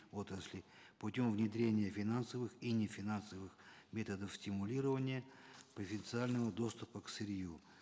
отрасли путем внедрения финансовых и нефинансовых методов стимулирования официального доступа к сырью